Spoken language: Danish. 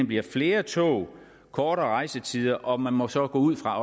bliver flere tog kortere rejsetider og man må så gå ud fra at